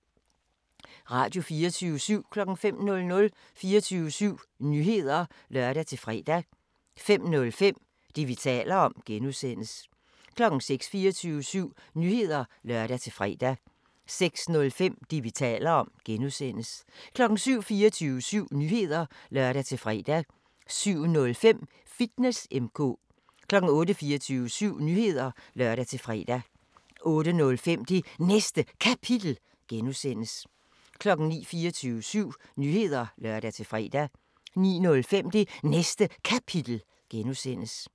Radio24syv